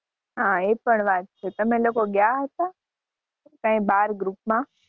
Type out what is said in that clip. હા એપણ વાત છે તમે લોકો ગયા હતા કઈ બહાર group માં